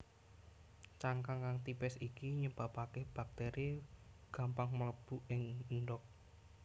Cangkang kang tipis iki nyebabaké baktéri gampang mlebu ing endhog